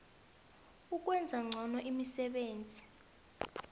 ukwenza ngcono imisebenzi